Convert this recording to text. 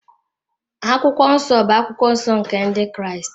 Akwụkwọ Nsọ bụ akwụkwọ nsọ nke Ndị Kraịst.